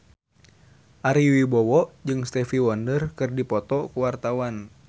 Ari Wibowo jeung Stevie Wonder keur dipoto ku wartawan